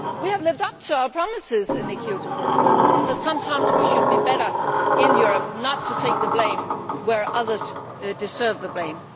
We have lived up to our promises in the Kyoto Protocol, so sometimes we should be better in Europe at not taking the blame where others deserve the blame.